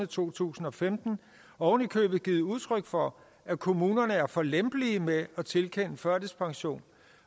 to tusind og femten ovenikøbet givet udtryk for at kommunerne er for lempelige med at tilkende førtidspension